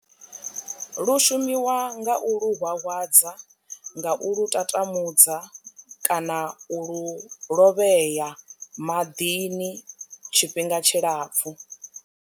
Lu shumiwa nga u lu hwahwadza nga u lu tatamudza kana u lu lovhea maḓini tshifhinga tshilapfhu.